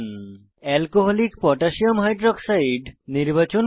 alcoholic potassium hydroxide alcকোহ নির্বাচন করুন